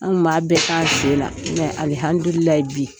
An kun ba bɛɛ k'an sen na. alihamidulilayi bi